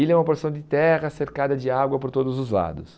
Ilha é uma porção de terra cercada de água por todos os lados.